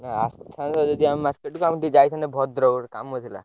ଆସି ଥାନ୍ତ ଯଦି ଆମ market କୁ ଆମେ ଟିକେ ଯାଇଥାନ୍ତେ ଭଦ୍ରକ ଗୋଟେ କାମ ଥିଲା।